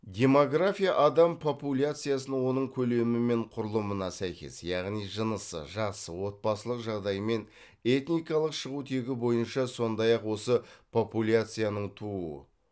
демография адам популяциясын оның көлемі мен құрылымына сәйкес яғни жынысы жасы отбасылық жағдайы мен этникалық шығу тегі бойынша сондай ақ осы популяцияның туу